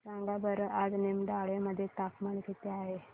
सांगा बरं आज निमडाळे मध्ये तापमान किती आहे